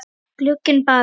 Gúgglið bara.